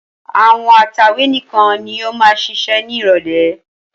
Àwọn atẹ̀wé nìkan ni yóò máa ṣiṣẹ́ ní ìrọ́lẹ́.